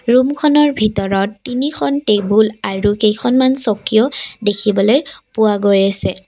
ৰূমখনৰ ভিতৰত তিনিখন টেবুল আৰু কেইখনমান চকীও দেখিবলৈ পোৱা গৈ আছে।